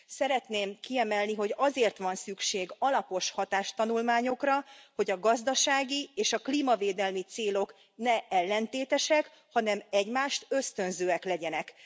Szeretném kiemelni, hogy azért van szükség alapos hatástanulmányokra, hogy a gazdasági és a klímavédelmi célok ne ellentétesek, hanem egymást ösztönzőek legyenek.